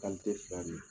fila de